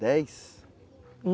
Dez?